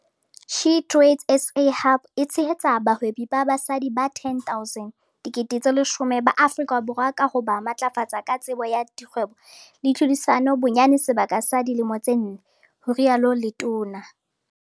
SheTradesZA Hub e tshehetsa bahwebi ba basadi ba 10 000 ba Afrika Borwa ka ho ba matlafatsa ka tsebo ya kgwebo le tlhodisano bonyane sebaka sa dilemo tse nne," ho rialo letona.